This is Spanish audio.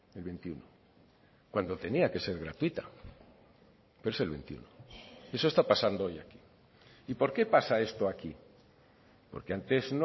el veintiuno cuando tenía que ser gratuita pero es el veintiuno eso está pasando hoy aquí y por qué pasa esto aquí porque antes